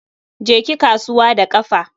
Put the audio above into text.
Je ki kasuwa da kafa.